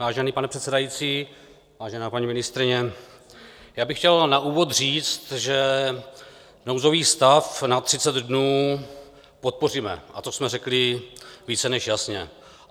Vážený pane předsedající, vážená paní ministryně, já bych chtěl na úvod říct, že nouzový stav na 30 dnů podpoříme, a to jsme řekli více než jasně.